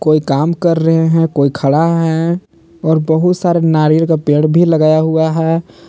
कोई काम कर रहे हैं कोई खड़ा है और बहुत सारे नारियल का पेड़ भी लगाया हुआ है।